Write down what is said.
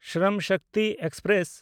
Shram Shakti express